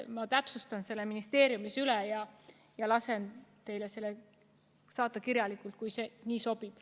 Ma täpsustan selle ministeeriumis üle ja lasen teile saata kirjalikult, kui nii sobib.